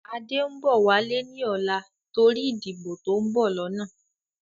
Adé ń bọ̀ wálé ni ọ̀la torí ìdìbò to ń bọ̀ lọ́nà